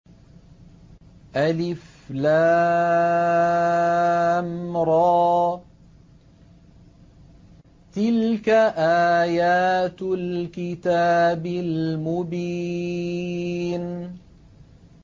الر ۚ تِلْكَ آيَاتُ الْكِتَابِ الْمُبِينِ